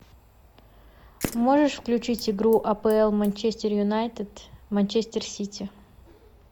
можешь включить игру апл манчестер юнайтед манчестер сити